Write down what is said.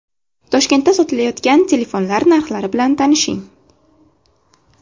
Toshkentda sotilayotgan telefonlar narxlari bilan tanishing.